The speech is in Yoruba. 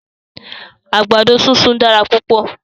Àgbàdo súnsun dára púpọ̀.